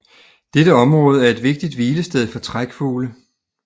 Dette område er et vigtigt hvilested for trækfugle